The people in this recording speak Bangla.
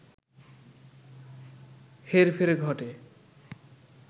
হেরফের ঘটে